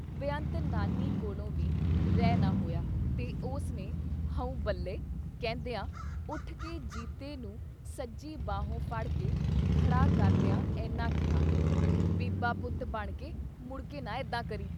ਬੇਅੰਤ ਨਾਨੀ ਕੋਲੋਂ ਵੀ ਰਹਿ ਨਾ ਹੋਇਆ ਤੇ ਉਸ ਨੇ "ਹਊਂ ਬੱਲੇ " ਕਹਿੰਦਿਆਂ ਉੱਠਕੇ ਜੀਤੇ ਨੂੰ ਸੱਜੀ ਬਾਹੋਂ ਫੜ ਕੇ ਖੜ੍ਹਾ ਕਰਦਿਆਂ ਏਨਾ ਕਿਹਾ- "ਬੀਬਾ ਪੁੱਤ ਬਣਕੇ ਮੁੜਕੇ ਨਾ ਏਦਾਂ ਕਰੀਂ।"